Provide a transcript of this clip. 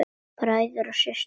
Bræður og systur!